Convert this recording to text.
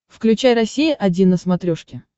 включай россия один на смотрешке